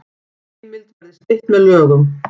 Heimild verði stytt með lögum